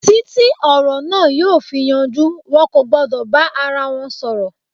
Títí ọ̀rọ̀ na yóò fi yanjú, wọn kò gbọ́dọ̀ bá ara wọn sọ̀rọ̀.